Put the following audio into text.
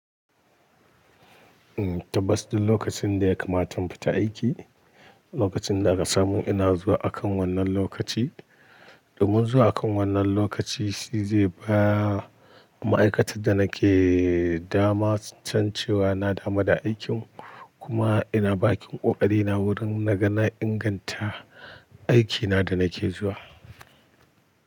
Tabbas duk lokacin da ya kamata mu fita aiki, lokacin da aka samu ina zuwa akan wannan lokaci. Domin zuwa akan wannan lokaci shi zai ba ma'aikatan da nake dama can cewa na dama da aikin kuma ina bakin ƙoƙarina wurin na ganin inganta aikina da nake zuwa.